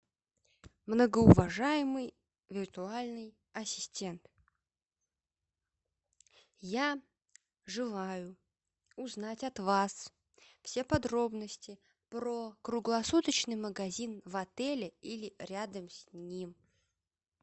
многоуважаемый виртуальный ассистент я желаю узнать от вас все подробности про круглосуточный магазин в отеле или рядом с ним